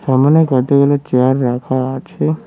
সামোনে কতগুলো চেয়ার রাখা আছে।